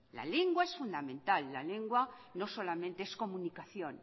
la lengua es fundamental la lengua no solamente es comunicación